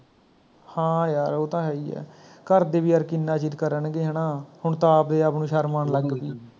ਹਾਂ ਯਾਰ ਉਹ ਤਾਂ ਹੈ ਹੀ ਹੈ, ਘਰਦੇ ਵੀ ਯਾਰ ਕਿੰਨਾ ਚਿਰ ਕਰਨਗੇ ਹੈਨਾ ਹੁਣ ਤੇ ਆਪਦੇ ਆਪ ਨੂੰ ਸ਼ਰਮ ਆਣ ਲੱਗ ਪਈ